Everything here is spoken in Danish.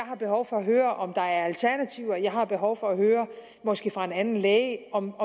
har behov for at høre om der er alternativer jeg har behov for at høre måske fra en anden læge om